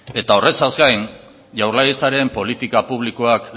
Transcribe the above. eta horretaz gain jaurlaritzaren politika publikoak